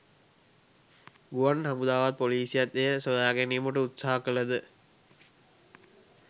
ගුවන් හමුදාවත් පොලිසියත් එය සොයාගැනීමට උත්සාහ කළද